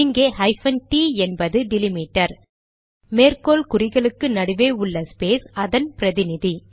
இங்கே hyphen T என்பது delimiter மேற்கோள் குறிகளுக்கு நடுவே உள்ள ஸ்பேஸ் அதன் பிரதிநிதி